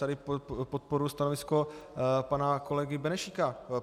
Tady podporuji stanovisko pana kolegy Benešíka.